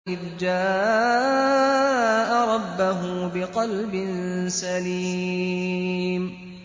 إِذْ جَاءَ رَبَّهُ بِقَلْبٍ سَلِيمٍ